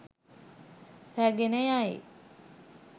රැගෙන යයි